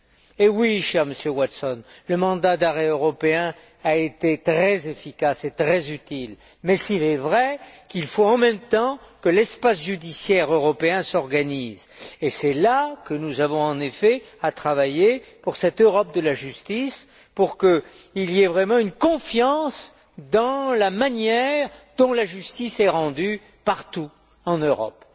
Eh oui, cher Monsieur Watson, le mandat d'arrêt européen a été très efficace et très utile, même s'il est vrai qu'il faut en même temps que l'espace judiciaire européen s'organise, et c'est là que nous avons en effet à travailler pour cette Europe de la justice, pour qu'il y ait vraiment une confiance dans la manière dont la justice est rendue partout en Europe.